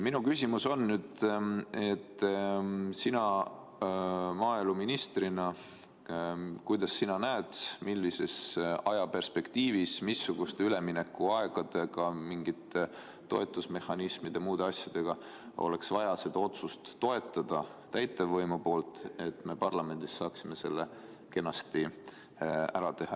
Minu küsimus on, et kuidas sina maaeluministrina näed, millises ajaperspektiivis, missuguste üleminekuaegadega, milliste toetusmehhanismide ja muude asjadega oleks vaja täitevvõimul seda otsust toetada, et me parlamendis saaksime selle kenasti ära teha.